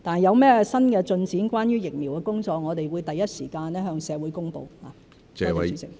有任何關於疫苗工作的新進展，我們會第一時間向社會公布。